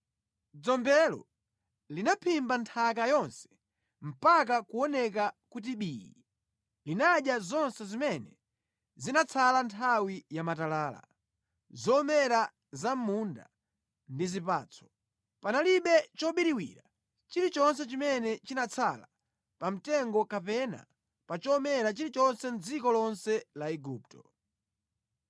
Dzombelo linaphimba nthaka yonse mpaka kuoneka kuti bii. Linadya zonse zimene zinatsala nthawi ya matalala, zomera za mʼmunda ndi zipatso. Panalibe chobiriwira chilichonse chimene chinatsala pa mtengo kapena pa chomera chilichonse mʼdziko lonse la Igupto.